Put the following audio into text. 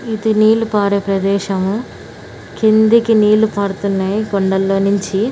ఇది నీళ్లు పారే ప్రదేశము కిందకి నీళ్లు కారుతున్నాయ్ కొండల్లోనించి .